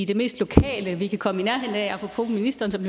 det mest lokale vi kan komme i nærheden af apropos ministeren som